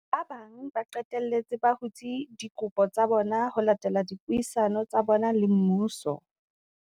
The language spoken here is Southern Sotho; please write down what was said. Ba bang ba qetelletse ba hutse dikopo tsa bona ho latela dipuisano tsa bona le mmuso.